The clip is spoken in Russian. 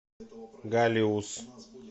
галиус